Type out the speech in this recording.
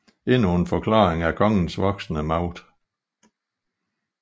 Endnu en forklaring er kongens voksende magt